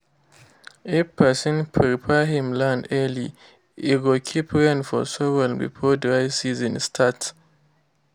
if person prepare him land early e go keep rain for soil before dry season start